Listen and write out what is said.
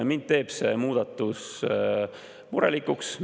Mind teeb see muudatus murelikuks.